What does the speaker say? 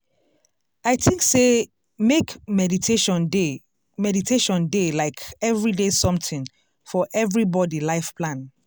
i think sey make meditation dey meditation dey like everyday something for everybody life plan.